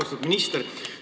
Austatud minister!